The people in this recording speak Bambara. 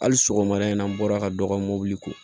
Hali sɔgɔmada in na an bɔra ka dɔ ka mobili ko